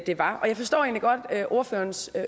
var og jeg forstår egentlig godt ordførerens